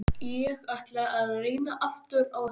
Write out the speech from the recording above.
Ég ætla að reyna aftur á eftir.